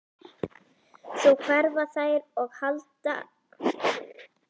Svo hverfa þær og halla eldhúshurðinni á eftir sér.